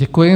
Děkuji.